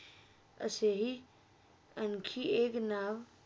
असेही आणखी एक नाव